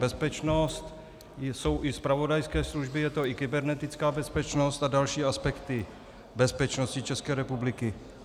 Bezpečnost jsou i zpravodajské služby, je to i kybernetická bezpečnost a další aspekty bezpečnosti České republiky.